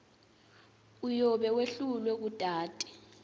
uyobe wehlulwe kutati